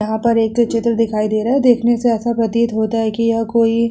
यहाँ पर एक चित्र दिखाई दे रहा है देखने से ऐसा प्रतीत होता है की यह कोई --